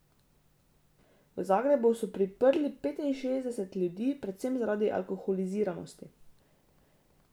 V Zagrebu so priprli petinšestdeset ljudi, predvsem zaradi alkoholiziranosti.